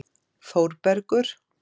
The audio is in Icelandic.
Þórbergur